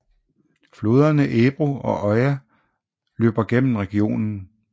Floderne Ebro og Oja løber gennem regionen